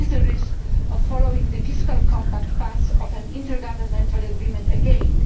There is a risk of following the Fiscal Compact path of an intergovernmental agreement again.